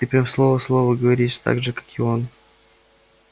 ты прям слово в слово говоришь так же как и он